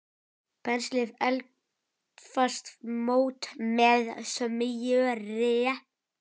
Penslið eldfast mót með smjöri.